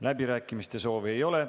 Läbirääkimiste soovi ei ole.